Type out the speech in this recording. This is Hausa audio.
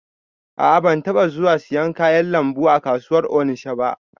A'a ban taba zuwa siyan kayan lambu a kasuwar onisha ba